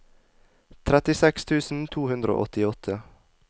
trettiseks tusen to hundre og åttiåtte